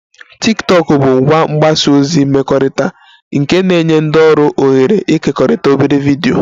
Tiktokụ bụ ngwa mgbasa ozi mmekọrịta nke na-enye ndị ọrụ ohere ịkekọrịta obere vidiyo